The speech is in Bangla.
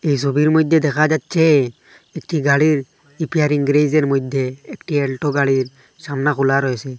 এই সবির মইধ্যে দেখা যাচ্ছে একটি গাড়ির রিপেয়ারিং গ্যারেজের মধ্যে একটি অ্যালটো গাড়ির সামনে খোলা রয়েসে।